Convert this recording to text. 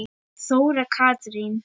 Þóra Katrín.